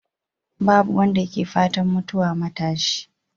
Babu wanda ke fatan mutuwa matashi.